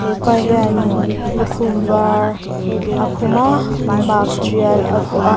hepa hian lukhum var a khum a mask tial a vuah a.